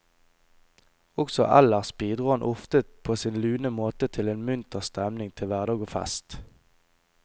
Også ellers bidro han ofte på sin lune måte til en munter stemning til hverdag og fest.